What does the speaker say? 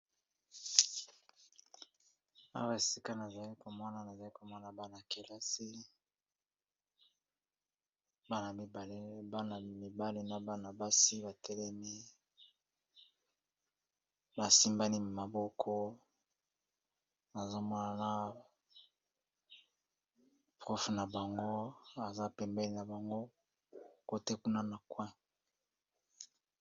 Awa esika nazali komona nazali komona bana-kelasi mibale , basi batelemi basimbani maboko ,nazomona molakisi na bango aza pembeni na bango kote kuna na coin.